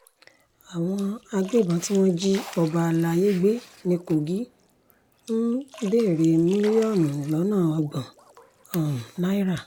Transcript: àwọn agbébọ́n tí wọ́n jí ọba àlàyé gbé ní kogi ń béèrè mílíọ̀nù lọ́nà ọgbọ́n um náírà